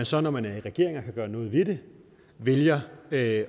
så når man er i regering og kan gøre noget ved det vælger at